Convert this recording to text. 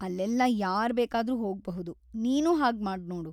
ಅಲ್ಲೆಲ್ಲ ಯಾರ್‌ ಬೇಕಾದ್ರೂ ಹೋಗ್ಬಹುದು, ನೀನೂ ಹಾಗ್‌ ಮಾಡ್ನೋಡು.